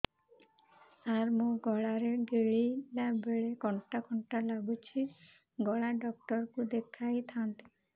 ସାର ମୋ ଗଳା ରେ ଗିଳିଲା ବେଲେ କଣ୍ଟା କଣ୍ଟା ଲାଗୁଛି ଗଳା ଡକ୍ଟର କୁ ଦେଖାଇ ଥାନ୍ତି